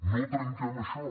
no trenquem això